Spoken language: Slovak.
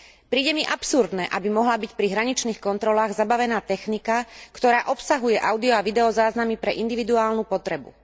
Príde mi absurdné, aby mohla byť pri hraničných kontrolách zabavená technika, ktorá obsahuje audio a video záznamy pre individuálnu potrebu.